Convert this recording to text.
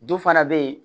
Du fana be yen